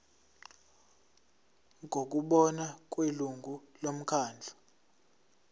ngokubona kwelungu lomkhandlu